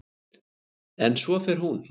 En svo fer hún.